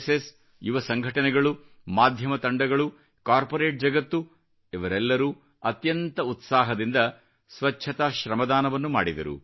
ಸ್ಎಯಸ್ ಯುವ ಸಂಘಟನೆಗಳು ಮಾಧ್ಯಮ ತಂಡಗಳು ಕಾರ್ಪೊರೇಟ್ ಜಗತ್ತು ಇವರೆಲ್ಲರೂ ಅತ್ಯಂತ ಉತ್ಸಾಹದಿಂದ ಸ್ವಚ್ಚತಾ ಶ್ರಮದಾನವನ್ನು ಮಾಡಿದರು